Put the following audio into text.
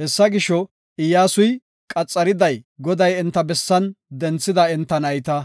Hessa gisho, Iyyasuy qaxariday Goday enta bessan denthida enta nayta.